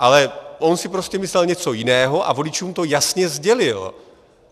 Ale on si prostě myslel něco jiného a voličům to jasně sdělil.